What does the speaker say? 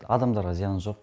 адамдарға зияны жоқ